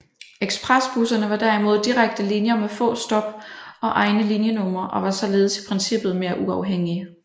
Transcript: Ekspresbusserne var derimod direkte linjer med få stop og egne linjenumre og var således i princippet mere uafhængige